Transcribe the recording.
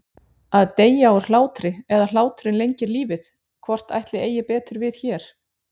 Að deyja úr hlátri eða hláturinn lengir lífið- hvort ætli eigi betur við hér?